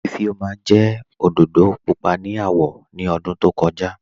Ifẹ́ọma jẹ́ ọdọdọ púpọ̀ ni awọ̀ ni ọ̀dún tó kọ̀ja